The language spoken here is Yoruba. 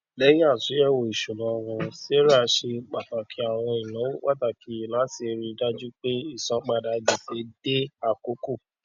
lẹyìn àtúnyẹwò isúnà wọn sarah ṣe pàtàkì àwọn ináwó pàtàkì láti rí i dájú pé ìsanpadà gbèsè dé àkókò